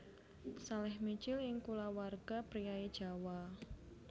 Salèh mijil ing kulawarga priyayi Jawa